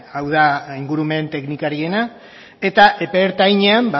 hau da ingurumen teknikariena eta epe ertainean